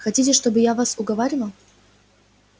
хотите чтобы я вас уговаривал